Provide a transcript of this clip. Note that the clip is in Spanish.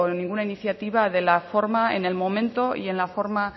ninguna iniciativa de la forma en el momento y en la forma